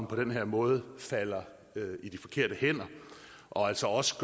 på den her måde falder i de forkerte hænder og altså også